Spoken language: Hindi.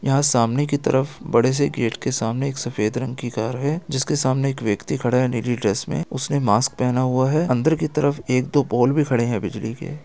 यहाँ सामने की तरफ बड़े से गेट के सामने एक सफेद रंग की कार है जिसके सामने एक व्यक्ति खड़ा है नीली ड्रेस मे उसने मास्क पहना हुआ है अंदर की तरफ एक दो पोल भी खड़े है बिजली के।